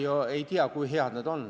Ma ei tea, kui head need on.